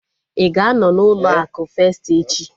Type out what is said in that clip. Ịga anọ na ụlọ akụ festi echi?